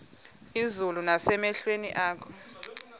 izulu nasemehlweni akho